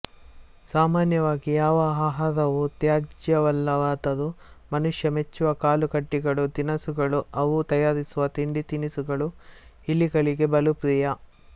ಸಾಮಾನ್ಯವಾಗಿ ಯಾವ ಆಹಾರವೂ ತ್ಯಾಜ್ಯವಲ್ಲವಾದರೂ ಮನುಷ್ಯ ಮೆಚ್ಚುವ ಕಾಳುಕಡ್ಡಿಗಳು ದಿನಸುಗಳು ಅವನು ತಯಾರಿಸುವ ತಿಂಡಿ ತಿನಿಸುಗಳು ಇಲಿಗಳಿಗೆ ಬಲು ಪ್ರಿಯ